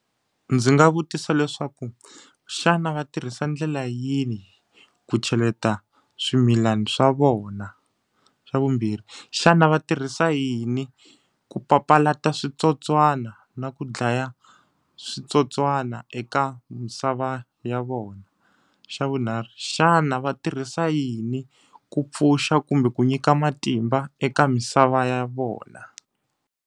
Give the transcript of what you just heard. Ndzi nga vutisa leswaku, xana va tirhisa ndlela yini ku cheleta swimilana swa vona? Xa vumbirhi, xana va tirhisa yini ku papalata switsotswana na ku dlaya switsotswana eka misava ya vona? Xa vunharhu, xana va tirhisa yini ku pfuxa kumbe ku nyika matimba eka misava ya vona.